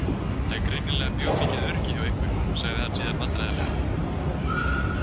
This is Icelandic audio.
Það er greinilega mjög mikið öryggi hjá ykkur, sagði hann síðan vandræðalega.